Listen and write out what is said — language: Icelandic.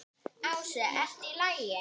Ási: ERTU Í LAGI?